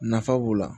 Nafa b'o la